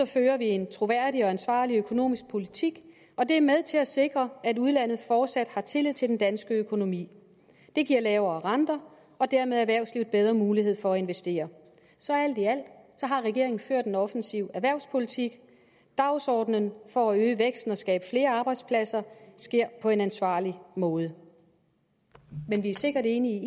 fører vi en troværdig og ansvarlig økonomisk politik og det er med til at sikre at udlandet fortsat har tillid til den danske økonomi det giver lavere renter og dermed erhvervslivet bedre mulighed for at investere så alt i alt har regeringen ført en offensiv erhvervspolitik dagsordenen for at øge væksten og skabe flere arbejdspladser sker på en ansvarlig måde men vi er sikkert enige